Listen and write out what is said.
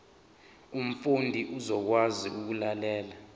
umfundi uzokwazi ukulalela